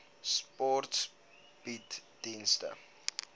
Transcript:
sport bied dienste